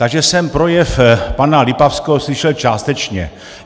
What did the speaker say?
Takže jsem projev pana Lipavského slyšel částečně.